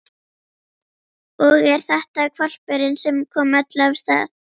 Og er þetta hvolpurinn sem kom öllu af stað?